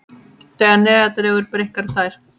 Þegar neðar dregur breikka þær.